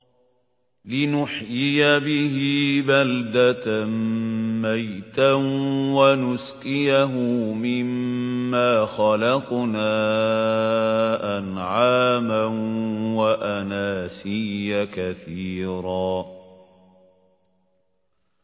لِّنُحْيِيَ بِهِ بَلْدَةً مَّيْتًا وَنُسْقِيَهُ مِمَّا خَلَقْنَا أَنْعَامًا وَأَنَاسِيَّ كَثِيرًا